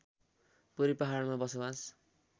पूर्वी पहाडमा बसोवास